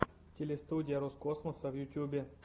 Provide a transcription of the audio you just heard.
телестудия роскосмоса в ютьюбе